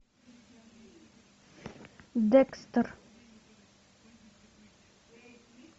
декстер